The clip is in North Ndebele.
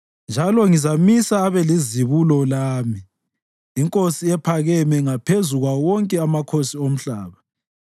Njalo ngizamisa abe lizibulo lami, inkosi ephakeme ngaphezu kwawo wonke amakhosi omhlaba.